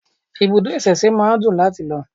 Ibùdó ìsẹ̀se máa ń dùn láti lọ